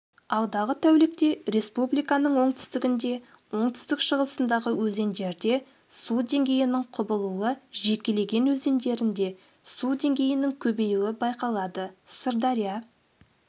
алдағы тәулікте республиканың оңтүстігінде оңтүстік-шығысындағы өзендерде су деңгейінің құбылуы жекелеген өзендерінде су деңгейінің көбеюі байқалады сырдария